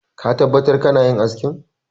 Ka tabbatar kana yin askin!